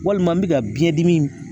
Walima n iɛ ka biɲɛdimi in